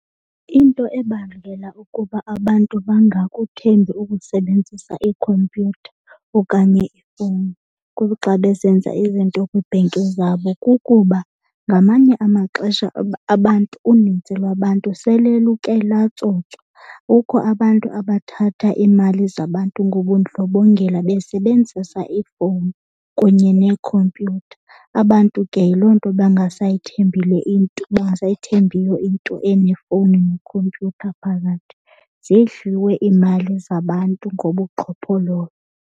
Into ebangela ukuba abantu bangakuthembi ukusebenzisa iikhompyutha okanye ifowuni kuxa besenza izinto kwiibhenki zabo kukuba ngamanye amaxesha abantu uninzi lwabantu sele luke latsotswa. Kukho abantu abathatha iimali zabantu ngobundlobongela besebenzisa iifowuni kunye neekhompyutha. Abantu ke yiloo nto bangaseyithembi le into, bangasayithembiyo into enefowuni nekhompyutha phakathi. Zidliwe iimali zabantu ngobuqhophololo.